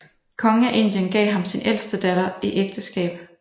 Kongen af Indien gav ham sin ældste datter i ægteskab